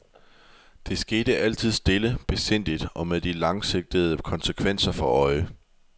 Det skete altid stille, besindigt og med de langsigtede konsekvenser for øje.